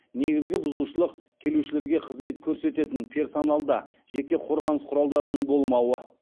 негізгі бұзушылық келушілерге қызмет көрсететін персоналда жеке қорғаныс құралдарының болмауы